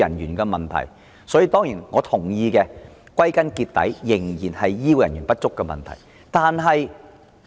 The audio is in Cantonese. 歸根究底，我當然認同這仍然是醫護人員不足的問題。